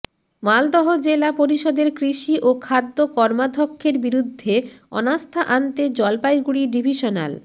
মালদহ জেলা পরিষদের কৃষি ও খাদ্য কর্মাধ্যক্ষের বিরুদ্ধে অনাস্থা আনতে জলপাইগুড়ি ডিভিশনাল